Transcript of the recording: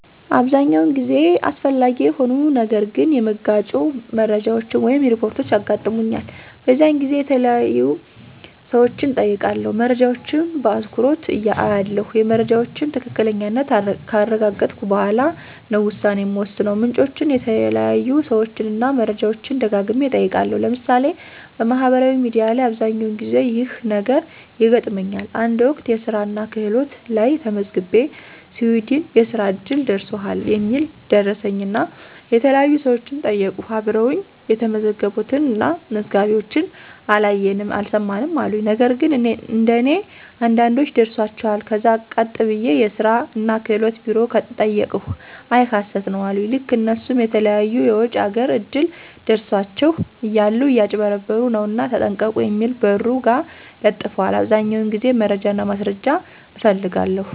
አብዛኛውን ጊዜ አስፈላጊ የሆኑ ነገር ግን የመጋጩ መረጃወች ወይም ሪፖርች ያጋጥሙኛል። በዚያን ጊዜ የተያዩ ሰወችን እጠይቃለሁ። መረጃወችን በአትኩሮች አያለሁ የመረጃወችን ትክክለኛነት ካረጋገጥሁ በኋላ ነው ውሳኔ ምወስነው። ምንጮችን፣ የተያዩ ሰወችን እና መረጃወችን ደጋግሚ እጠይቃለሁ። ለምሳሌ፦ በማህበራዊ ሚዲያ ላይ አብዘኛውን ጊዜ ይህ ነገር ይገጥመኛል። አንድ ወቅት የስራናክህሎት ላየ ተመዝግቤ ሲዊድን የእስራ እድል ደርሶሀል የሚል ደረሰኝናየተለያዩ ሰወችን ጠይቅሁ አብረወኝ የተመዘገቡትን እና መዝጋቢወችን አላየንም አልሰማንም አሉኝ። ነግን እንደኔ አንዳንዶች ደርሷቸዋል ከዛ ቀጥ ብየ የስራ እና ክህሎት ቢሮ ጠየቅሁ አይ ሀሰት ነው አሉኝ። ልክ እነሱም የተለያዩ የወጭ አገር እድል ደረሳችሁ እያሉ እያጭበረበሩ ነውና ተጠንቀቁ የሚል በሩ ጋ ለጥፈዋል። አብዛኛውን ጊዜ መረጃና ማስረጃ እፈልጋለሁ።